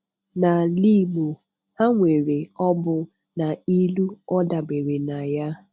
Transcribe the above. N’álà Ị̀gbò, ha nwere òbụ̀ nà ìlù ọ̀ dabere nà ya.